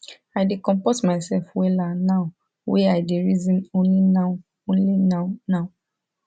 i dey compot mysef wella now wy i dey reason only now only now now